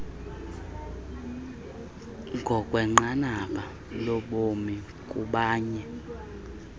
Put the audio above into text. ngokwenqanaba lobomi kubanye